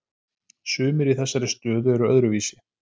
Sumir í þessari stöðu eru öðruvísi